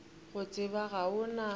go tseba ga o na